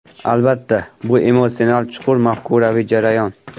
Albatta, bu emotsional, chuqur mafkuraviy jarayon.